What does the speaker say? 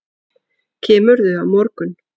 Kemurðu á morgun?